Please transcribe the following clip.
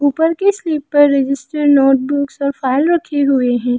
ऊपर के स्लैब पर रजिस्टर नोटबुक्स और फाइल रखे हुए हैं।